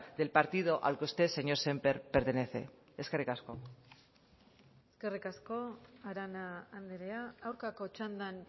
del partido al que usted señor sémper pertenece eskerrik asko eskerrik asko arana andrea aurkako txandan